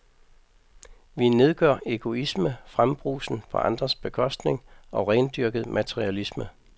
Vi nedgør egoisme, frembrusen på andres bekostning og rendyrket materialisme.